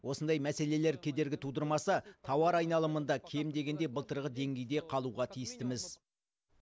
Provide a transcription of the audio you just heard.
осындай мәселелер кедергі тудырмаса тауар айналымында кем дегенде былтырғы деңгейде қалуға тіистіміз